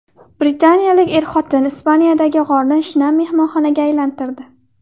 Britaniyalik er-xotin Ispaniyadagi g‘orni shinam mehmonxonaga aylantirdi .